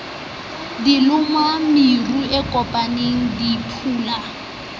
dilomo meru e kopaneng diphulana